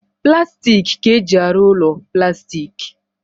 Plastik ka-eji arụ ụlọ plastik